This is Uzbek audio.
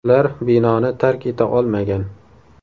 Ular binoni tark eta olmagan.